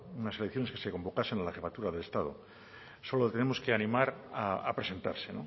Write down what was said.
unas elecciones que se convocasen a la jefatura del estado solo le tenemos que animar a presentarse